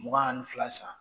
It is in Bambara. Mugan ani fila san